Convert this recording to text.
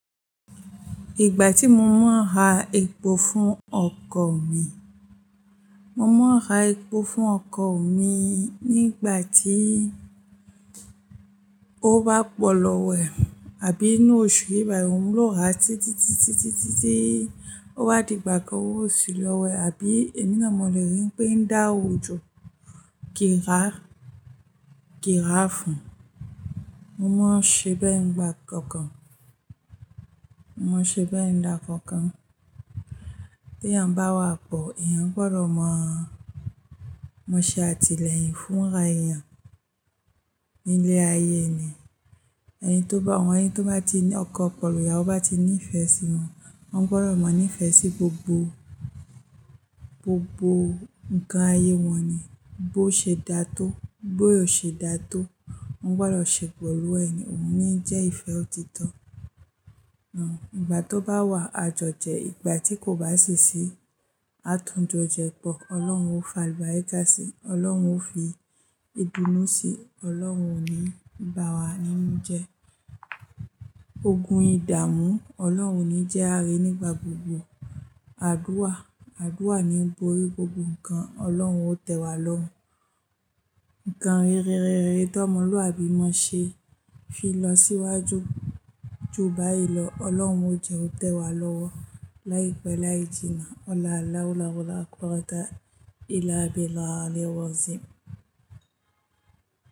Ìgbà tí mo máa ń ha epo fún ọkọ̀ mi, mo máa ń ha epo fún ọkọ̀ mi nígbà tí ó bá pọ lọ wẹ̀ àbí inú oṣù yìí báyìí, òun ló ra títí, títí, títí, títí ó bá dìgbà kan owó o sí lọwo ẹ̀. Àbí èmi náà mọ̀ lórí pé da ojò kí a, kí a fún. Mo máa ṣe bẹ ẹ̀ n gba kankan. Mo máa ṣe bẹ ẹ̀ n dá kọkan. Tèèyàn bá wà pọ̀, èèyàn gbọdọ̀ mọ̀. Mọ ṣe àtìlẹyìn fún ara èèyàn nílé ayé ni. Ẹni tó bá, àwọn ẹni tó bá ti ní ọkọ pẹ̀lú, ìyàwó bá ti ní ìfẹ́ sí wọn, wọ́n gbọdọ̀ mọ̀ ní ìfẹ́ sí gbogbo, gbogbo ǹkan ayé wọn ni. Bó ṣe dá tó, bó o ṣe dá tó, wọ́n gbọdọ̀ ṣe pẹ̀lú ẹ̀ ni. Òun ni jẹ́ ìfẹ́ òtítọ́. Ìgbà tó bá wà, a jọ jẹ, ìgbà tí kò bá sì sí, atún jọ jẹ pọ̀ Olóhun ó fi àlùbáríkà sí, olóhun ó fi ìdùnú sí, olóhun ó ní bá wa nínú jẹ. Ogun ìdàmú. Ọlọ́run ò ní jẹ́ àárín nígbà gbogbo. Àdúrà, àdúrà ni ń bori gbogbo nǹkan. Ọlọ́run ó tẹ̀ wá lọ́run. Nǹkan rere rere t'ọmọlúàbí mọ n ṣe. Fi lọ síwájú ju báyìí lọ. Ọlọ́run ó jẹ́ ó tẹ̀ wá lọ́wọ́ láìpẹ́ láì jìnnà.